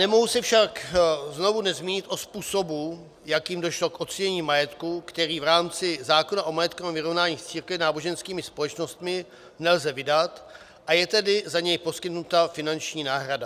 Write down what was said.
Nemohu se však znovu nezmínit o způsobu, jakým došlo k ocenění majetku, který v rámci zákona o majetkovém vyrovnání s církvemi a náboženskými společnostmi nelze vydat, a je tedy za něj poskytnuta finanční náhrada.